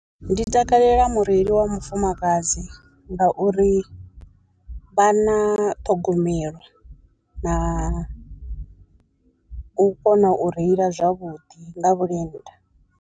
Ndi takalela mureili wa mufumakadzi nga uri vha na ṱhogomelo na u kona u reila zwavhuḓi nga vhulenda.